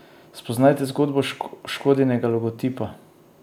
Spoznajte zgodbo Škodinega logotipa!